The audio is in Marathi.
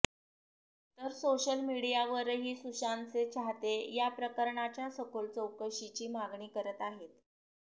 तर सोशल मीडियावरही सुशांतचे चाहते या प्रकरणाच्या सखोल चौकशीची मागणी करत आहेत